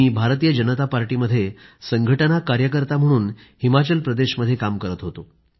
मी भारतीय जनता पार्टीमध्ये संघटना कार्यकर्ता म्हणून हिमाचल प्रदेशमध्ये काम करत होतो